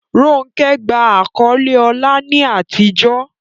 Ronke gba àkọ́lé ọlá ní àtijọ́.